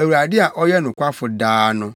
Awurade a ɔyɛ nokwafo daa no.